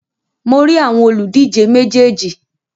Mo rí àwọn òlùdíje méjèèjì.